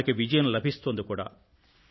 మనకి విజయం లభిస్తోంది కూడా